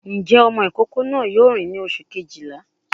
Ǹjẹ́ ọmọ ìkókó náà yóò rìn ní oṣù Kejìlá?